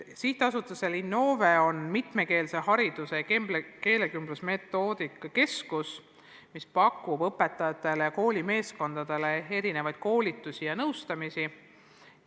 Sihtasutusel Innove on mitmekeelse hariduse keelekümblusmetoodika keskus, mis pakub õpetajatele ja koolimeeskondadele erinevaid koolitusi ja nõustamisi.